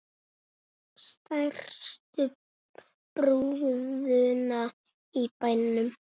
Stærstu brúðuna í bænum.